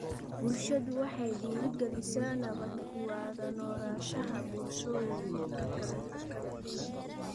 Waxbarashadu waxay dhiirigelisaa nabad ku wada noolaanshaha bulshooyinka kala duwan .